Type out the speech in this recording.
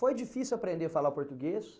Foi difícil aprender a falar português?